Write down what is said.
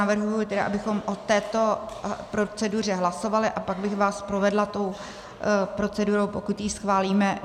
Navrhuji tedy, abychom o této proceduře hlasovali, a pak bych vás provedla tou procedurou, pokud ji schválíme.